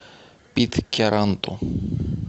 питкяранту